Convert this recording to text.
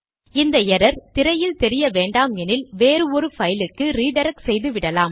இந்த எரர் திரையில் தெரிய வேண்டாமெனில் வேறு ஒரு பைலுக்கு ரிடிரக்ட் செய்துவிடலாம்